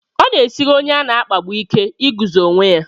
Ọ na-esiri onye a na-akpagbu ike iguzo onwe ya.